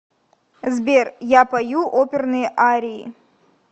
сбер я пою оперные арии